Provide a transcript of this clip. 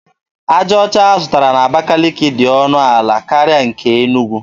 Aja ọcha a zụtara n’Abakiliki dị ọnụ ala karịa nke Enugwu.